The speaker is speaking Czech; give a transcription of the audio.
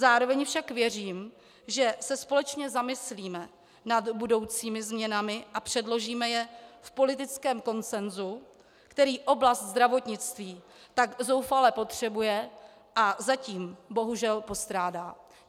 Zároveň však věřím, že se společně zamyslíme nad budoucími změnami a předložíme je v politickém konsensu, který oblast zdravotnictví tak zoufale potřebuje a zatím bohužel postrádá.